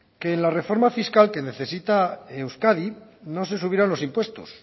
que en la reforma fiscal que necesita euskadi no se subieran los impuestos